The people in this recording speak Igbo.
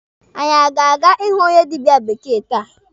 Anyị aga aga ịhụ onye dịbịa bekee taa?